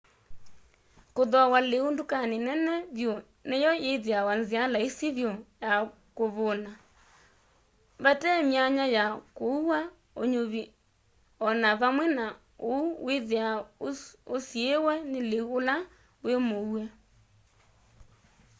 kuthooa liu ndukani nene vyu ni yo ithiawa nzia laisi vyu ya kuvuuna vatee my'anya ya kũua ũnyuvi o na vamwe na uu withiawa usiiwe ni liu ula wi mũue